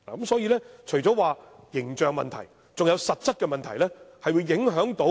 所以，除了形象問題外，還有實質的問題。